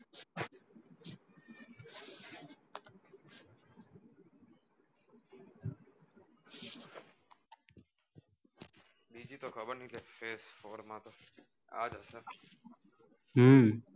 બીજી તો કબર નહિ કાઈ છે આજ હસે હમ